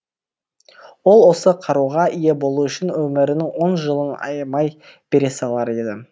ол осы қаруға ие болу үшін өмірінің он жылын аямай бере салар еді